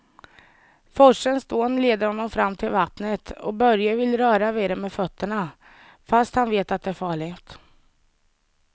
Forsens dån leder honom fram till vattnet och Börje vill röra vid det med fötterna, fast han vet att det är farligt.